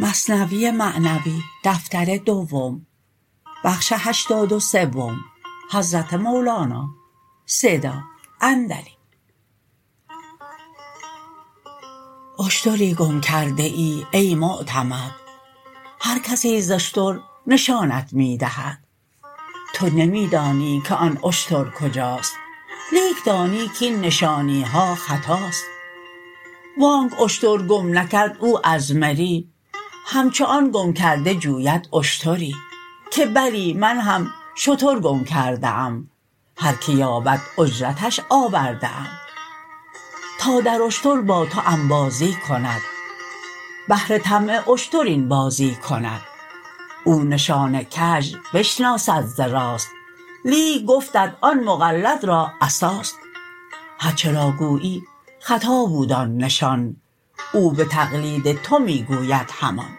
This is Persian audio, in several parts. اشتری گم کرده ای ای معتمد هر کسی ز اشتر نشانت می دهد تو نمی دانی که آن اشتر کجاست لیک دانی کین نشانیها خطاست وانک اشتر گم نکرد او از مری همچو آن گم کرده جوید اشتری که بلی من هم شتر گم کرده ام هر که یابد اجرتش آورده ام تا در اشتر با تو انبازی کند بهر طمع اشتر این بازی کند او نشان کژ بنشناسد ز راست لیک گفتت آن مقلد را عصاست هرچه را گویی خطا بود آن نشان او به تقلید تو می گوید همان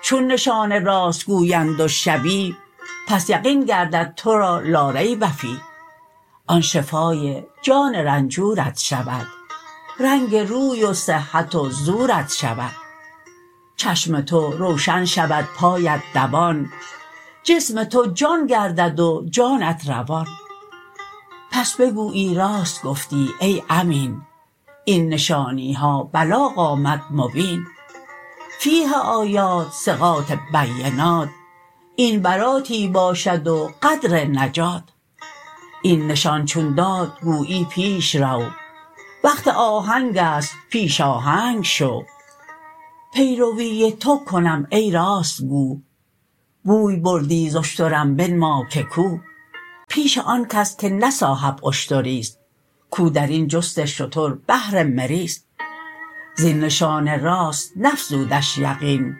چون نشان راست گویند و شبیه پس یقین گردد تو را لا ریب فیه آن شفای جان رنجورت شود رنگ روی و صحت و زورت شود چشم تو روشن شود پایت دوان جسم تو جان گردد و جانت روان پس بگویی راست گفتی ای امین این نشانیها بلاغ آمد مبین فیه آیات ثقات بینات این براتی باشد و قدر نجات این نشان چون داد گویی پیش رو وقت آهنگست پیش آهنگ شو پی روی تو کنم ای راست گو بوی بردی ز اشترم بنما که کو پیش آنکس که نه صاحب اشتریست کو درین جست شتر بهر مریست زین نشان راست نفزودش یقین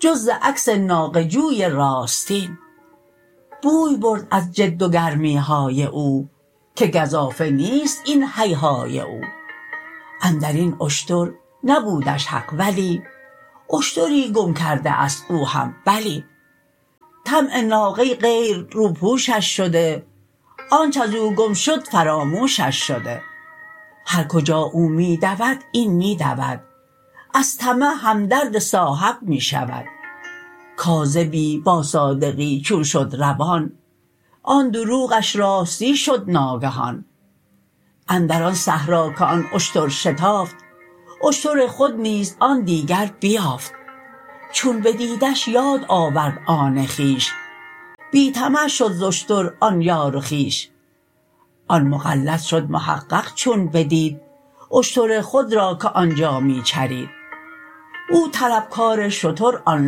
جز ز عکس ناقه جوی راستین بوی برد از جد و گرمیهای او که گزافه نیست این هیهای او اندرین اشتر نبودش حق ولی اشتری گم کرده است او هم بلی طمع ناقه غیر روپوشش شده آنچ ازو گم شد فراموشش شده هر کجا او می دود این می دود از طمع هم درد صاحب می شود کاذبی با صادقی چون شد روان آن دروغش راستی شد ناگهان اندر آن صحرا که آن اشتر شتافت اشتر خود نیز آن دیگر بیافت چون بدیدش یاد آورد آن خویش بی طمع شد ز اشتر آن یار و خویش آن مقلد شد محقق چون بدید اشتر خود را که آنجا می چرید او طلب کار شتر آن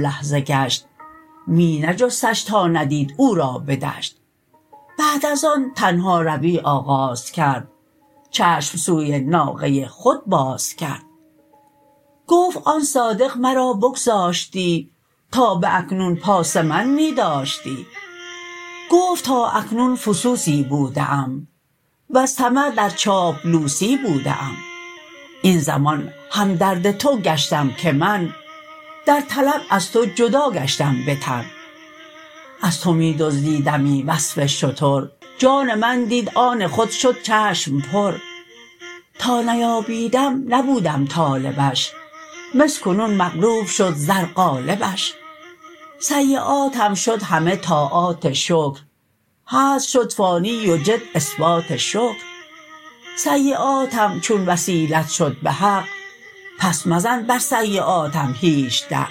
لحظه گشت می نجستش تا ندید او را بدشت بعد از آن تنهاروی آغاز کرد چشم سوی ناقه خود باز کرد گفت آن صادق مرا بگذاشتی تا باکنون پاس من می داشتی گفت تا اکنون فسوسی بوده ام وز طمع در چاپلوسی بوده ام این زمان هم درد تو گشتم که من در طلب از تو جدا گشتم به تن از تو می دزدیدمی وصف شتر جان من دید آن خود شد چشم پر تا نیابیدم نبودم طالبش مس کنون مغلوب شد زر غالبش سیاتم شد همه طاعات شکر هزل شد فانی و جد اثبات شکر سیاتم چون وسیلت شد بحق پس مزن بر سیاتم هیچ دق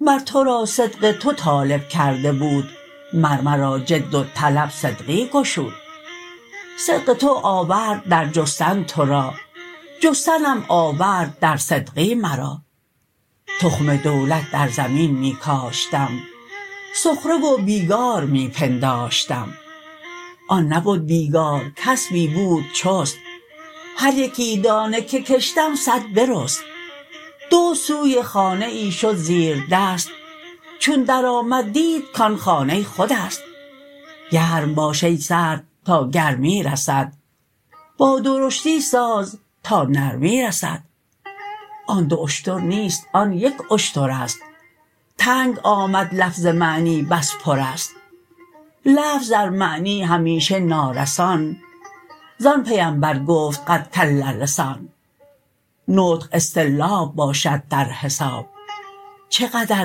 مر تو را صدق تو طالب کرده بود مر مرا جد و طلب صدقی گشود صدق تو آورد در جستن تو را جستنم آورد در صدقی مرا تخم دولت در زمین می کاشتم سخره و بیگار می پنداشتم آن نبد بیگار کسبی بود چست هر یکی دانه که کشتم صد برست دزد سوی خانه ای شد زیر دست چون در آمد دید کان خانه خودست گرم باش ای سرد تا گرمی رسد با درشتی ساز تا نرمی رسد آن دو اشتر نیست آن یک اشترست تنگ آمد لفظ معنی بس پرست لفظ در معنی همیشه نارسان زان پیمبر گفت قد کل لسان نطق اصطرلاب باشد در حساب چه قدر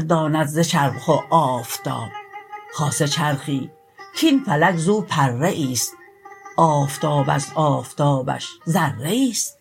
داند ز چرخ و آفتاب خاصه چرخی کین فلک زو پره ایست آفتاب از آفتابش ذره ایست